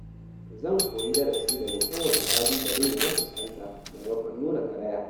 Zan koyi darasi daga kowane ƙalubale da na fuskanta maimakon nuna karaya.